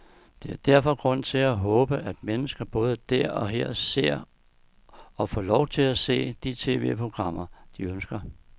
Der er derfor grund til at håbe, at mennesker både der og her ser, og får lov til at se, de tv-programmer, de ønsker.